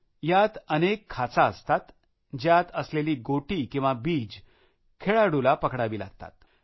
यात अनेक खाचा असतात ज्यात असलेली गोटी किंवा बीज खेळणाऱ्याला पकडावे लागतात